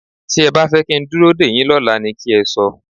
Tí ẹ bá fẹ́ kí n dúró dèyín lọ́la ni kẹ́ ẹ sọ.